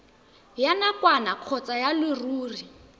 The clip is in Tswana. ya nakwana kgotsa ya leruri